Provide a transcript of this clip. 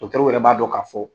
Dɔtɛriw yɛrɛ b'a dɔn k'a fɔ.